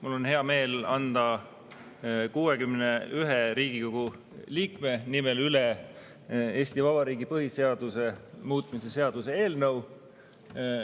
Mul on hea meel anda 61 Riigikogu liikme nimel üle Eesti Vabariigi põhiseaduse muutmise seaduse eelnõu.